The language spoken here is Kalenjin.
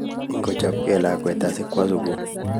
Ngochabge lakwet asigowo sugul